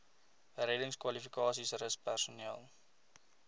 reddingskwalifikasies rus personeel